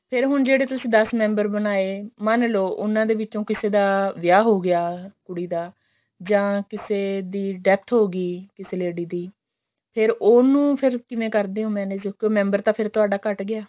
ਫੇਰ ਹੁਣ ਜਿਹੜੇ ਤੁਸੀਂ ਦਸ member ਬਣਾਏ ਮੰਨਲੋ ਉਹਨਾਂ ਦੇ ਵਿੱਚੋ ਕਿਸੇ ਦਾ ਵਿਆਹ ਹੋ ਗਿਆ ਕੁੜੀ ਦਾ ਜਾ ਕਿਸੇ ਦੀ death ਹੋ ਗਈ ਕਿਸੀ lady ਦੀ ਫੇਰ ਉਹਨੂੰ ਕਿਵੇਂ ਕਰਦੇ ਓ manage ਕਿਉਂਕਿ member ਤਾਂ ਫੇਰ ਤੁਹਾਡਾ ਘੱਟ ਗਿਆ